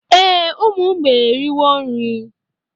Ee, ụmụ mgbei eriwo nri